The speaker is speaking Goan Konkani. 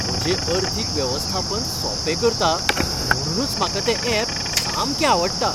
म्हजें अर्थीक वेवस्थापन सोंपें करता, म्हुणूनच म्हाका तें ऍप सामकें आवडटा.